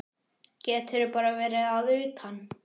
Getur bara verið að utan.